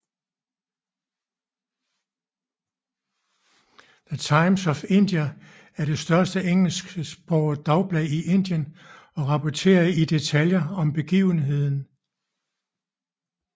The Times of India er det største engelsksprogede dagblad i Indien og rapporterede i detaljer om begivenheden